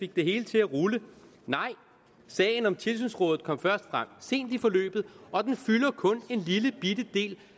det hele til at rulle nej sagen om tilsynsrådet kom først frem sent i forløbet og den fylder kun en lillebitte del